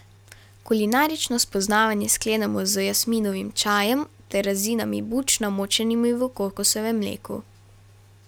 Kulinarično spoznavanje sklenemo z jasminovim čajem ter rezinami buč, namočenimi v kokosovem mleku.